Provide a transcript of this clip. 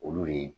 Olu de